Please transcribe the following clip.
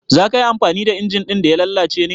Za ka yi amfani da injin ɗin da ya lalace ne?